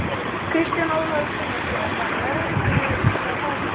Kristján Ólafur Gunnarsson: Var lögreglunni hótað?